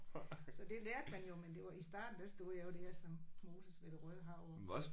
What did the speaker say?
Så det lærte man jo men det var i starten der stod jeg jo der som Moses ved Det Røde Hav jo